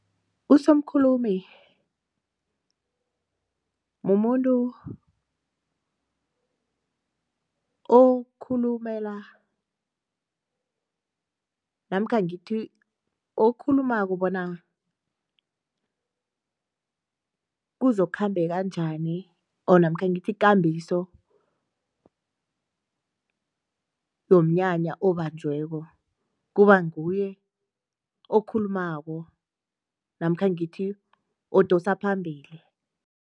Usomkhulumi mumuntu okhulumela namkha ngithi okhulumako bona kuzokukhambeka njani namkha ngithi ikambiso yomnyanya obanjweko, kubanguye okhulumako namkha ngithi odosa phambili.